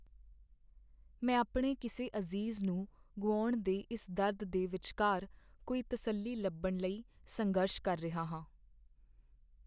ਮੈਂ ਆਪਣੇ ਕਿਸੇ ਅਜ਼ੀਜ਼ ਨੂੰ ਗੁਆਉਣ ਦੇ ਇਸ ਦਰਦ ਦੇ ਵਿਚਕਾਰ ਕੋਈ ਤਸੱਲੀ ਲੱਭਣ ਲਈ ਸੰਘਰਸ਼ ਕਰ ਰਿਹਾ ਹਾਂ।